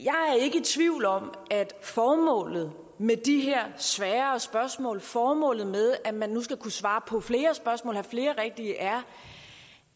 tvivl om at formålet med de her sværere spørgsmål formålet med at man nu skal kunne svare på flere spørgsmål og have flere rigtige er